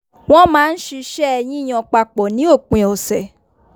wọ́n máa ń ṣisẹ́ yíyan papọ̀ ní òpin ọ̀sẹ̀